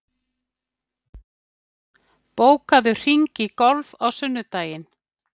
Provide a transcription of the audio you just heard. , bókaðu hring í golf á sunnudaginn.